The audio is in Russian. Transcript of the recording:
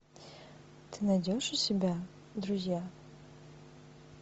ты найдешь у себя друзья